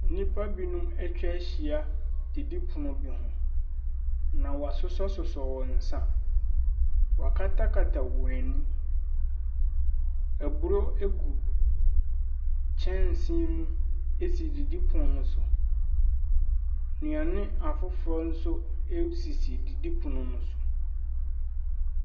Nipa binom etwa ehyia didi pono bi ho na w'asosɔsosɔ wɔn nsa. Wakatakata wɔn eni, eburo egu kyɛnse mu esi didi pono no so. Nduane afoforɔ nso esisi didi pono ɛso.